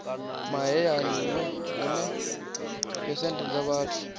mahayani hune phesenthe dza vhathu